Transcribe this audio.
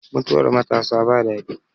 Mutuwar matasa ba daɗi